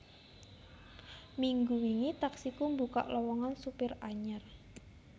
Minggu wingi Taksiku mbukak lowongan supir anyar